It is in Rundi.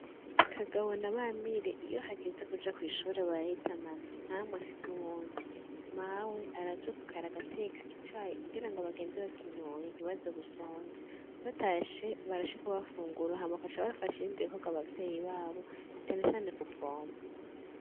Kagabo na Bamire iyo hageze kuja kw'ishure barahitanana nta n'umwe asiga uwundi. Mawe aravyuka kare agateka icayi, kugira ngo bagende bakinyoye ntibaze gusonza. Batashe, barashika bagafungura hama bagafasha ibindi bikogrwa abavyeyi b'abo canecane kubvoma.